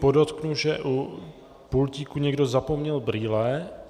Podotknu, že u pultíku někdo zapomněl brýle.